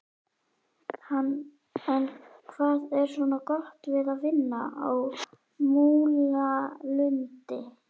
En hvað er svona gott við að vinna á Múlalundi?